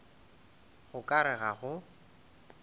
go ka re ga go